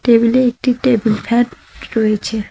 টেবিলে একটি table fan রয়েছে।